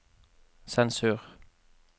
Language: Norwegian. sensur